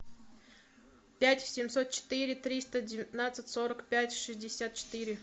пять семьсот четыре триста девятнадцать сорок пять шестьдесят четыре